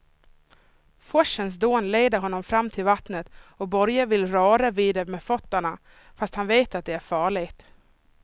Forsens dån leder honom fram till vattnet och Börje vill röra vid det med fötterna, fast han vet att det är farligt.